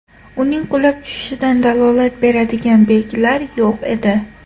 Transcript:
Uning qulab tushishidan dalolat beradigan belgilar yo‘q edi.